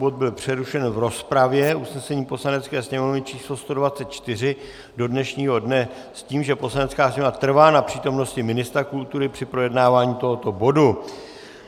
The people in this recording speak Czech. Bod byl přerušen v rozpravě, usnesení Poslanecké sněmovny číslo 124, do dnešního dne s tím, že Poslanecká sněmovna trvá na přítomnosti ministra kultury při projednávání toho bodu.